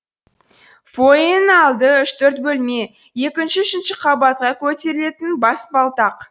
фоенің алды үш төрт бөлме екінші үшінші қабатқа көтерілетін баспалтақ